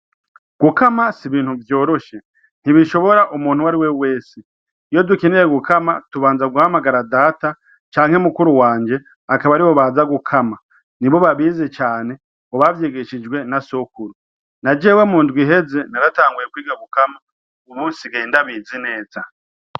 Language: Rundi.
Gukama si ibintu vyoroshe, ntibishora umuntu wese. Iyo dukeneye gukama tubanza guhamagara Data canke mukuru wanje, akaba aribo baza gukama. Nibo babizi cane ngo bavyigishijwe na sokuru. Na jewe mundwi iheze naratanguye kwiga gukama, muga ubu nsigaye ndabizi neza.